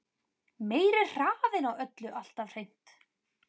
Meiri hraðinn á öllu alltaf hreint.